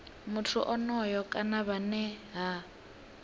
muthu onoyo kana vhane ha